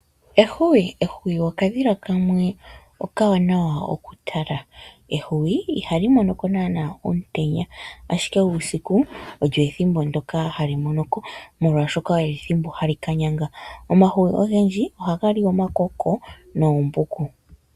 Ehwiyu Ehwiyu okadhila kamwe okawanawa okutala. Ehwiyu ihali mono ko naanaa omutenya, ihe uusiku olyo ethimbo ndyoka hali mono ko, omolwashoka olyo ethimbo ndyoka hali ka yanga. Omahwiyu ogendji ohaga li omakoko noombuku.